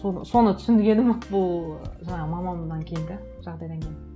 соны түсінгенім бұл жаңағы мамамнан кейін де жағдайдан кейін